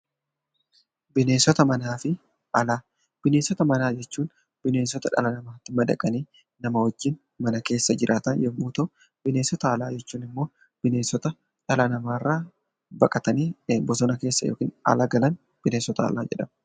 Bineensota manaa jechuun bineensota dhala namaatti madaqanii nama wajjin mana keessa jiraatan yommuu ta'u, bineensota alaa jechuun immoo bineensota dhala namaa irraa baqatanii bosona keessa yookiin ala galaniidha .